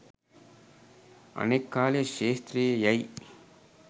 අනෙක් කාලය ක්‍ෂේත්‍රයේ යැයි